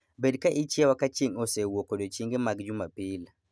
Bed ka ichiewa ka chieng' osewuok odiechienge mag Jumapil